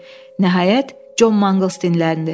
Nəhayət, Con Manquls dilləndi.